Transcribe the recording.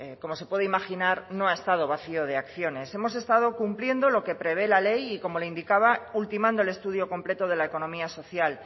como se puede imaginar no ha estado vacío de acciones hemos estado cumpliendo lo que prevé la ley y como le indicaba ultimando el estudio completo de la economía social